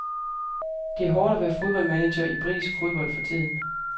Det er hårdt at være fodboldmanager i britisk fodbold for tiden.